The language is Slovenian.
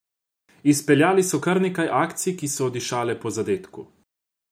Izpeljali so kar nekaj akcij, ki so dišale po zadetku.